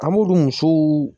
An b'olu musow